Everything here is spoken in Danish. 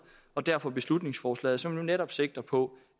og derfor beslutningsforslag som netop sigter på